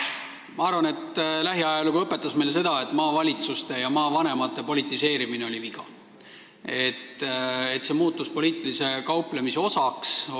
Ma arvan, et lähiajalugu õpetas meile seda, et maavalitsuste ja maavanemate politiseerimine oli viga – see muutus poliitilise kauplemise osaks.